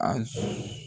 A